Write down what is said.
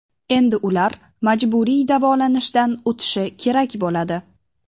Endi ular majburiy davolanishdan o‘tishi kerak bo‘ladi.